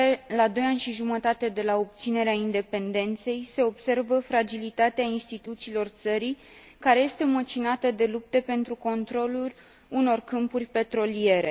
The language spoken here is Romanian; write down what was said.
La doi ani și jumătate de la obținerea independenței, se observă fragilitatea instituțiilor țării, care este măcinată de lupte pentru controlul unor câmpuri petroliere.